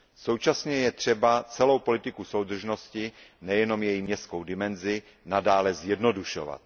Současně je třeba celou politiku soudržnosti, nejenom její městskou dimenzi, nadále zjednodušovat.